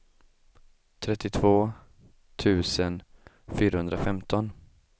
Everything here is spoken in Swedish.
trettiotvå tusen fyrahundrafemton